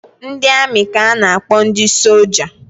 Ndị amị ka a na-akpọ ndị soja